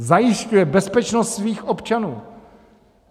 Zajišťuje bezpečnost svých občanů!